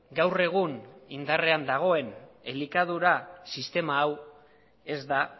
gaur egun indarrean dagoen elikadura sistema hau ez da